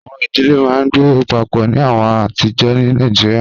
Awọn idile maa n gbe papọ ni awọn ọjọ atijọ ni Nigeria